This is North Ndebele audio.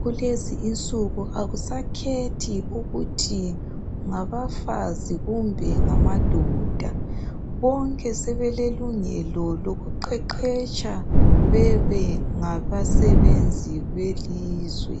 kulezi insuku akusakhethi ukuthi ngabafazi kumbe ngamadoda bonke sebelelungelo lokuqeqetsha bebe ngabasebenzi belizwe.